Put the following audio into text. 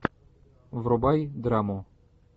врубай драму